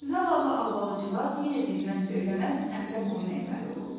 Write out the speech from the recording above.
Zavallı Albalıcıqaz yenə dinməz-söyləməz əmrə boyun əyməli olurdu.